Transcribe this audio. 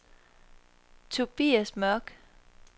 Tobias Mørk